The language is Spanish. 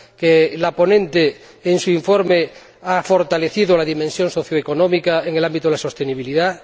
que la ponente, en su informe, ha fortalecido la dimensión socioeconómica en el ámbito de la sostenibilidad